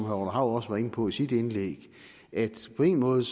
hav også var inde på i sit indlæg at på en måde